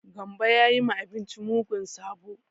Gambo ya yi ma abinci mugun sabo.